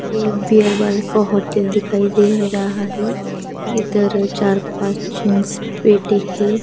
ये एक beer bar का होटल दिखाई दे रहा है इधर चार पांच जेंट्स बेटे हैं.